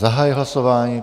Zahajuji hlasování.